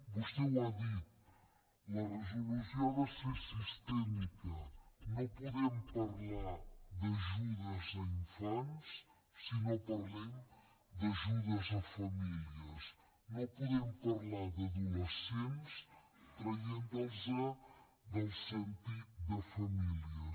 vostè ho ha dit la resolució ha de ser sistèmica no podem parlar d’ajudes a infants si no parlem d’ajudes a famílies no podem parlar d’adolescents traient los del sentit de famílies